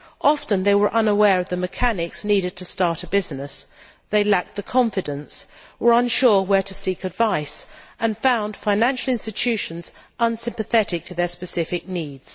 Often they were unaware of the mechanics needed to start a business, they lacked the confidence or were unsure where to seek advice, and found financial institutions unsympathetic to their specific needs.